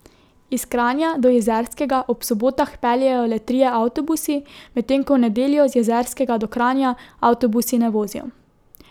Iz Kranja do Jezerskega ob sobotah peljejo le trije avtobusi, medtem ko v nedeljo z Jezerskega do Kranja avtobusi ne vozijo.